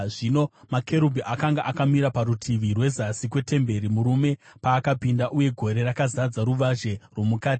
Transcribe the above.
Zvino makerubhi akanga akamira parutivi rwezasi kwetemberi murume paakapinda, uye gore rakazadza ruvazhe rwomukati.